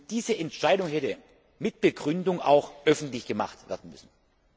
Diese Entscheidung hätte mit Begründung auch öffentlich gemacht werden müssen.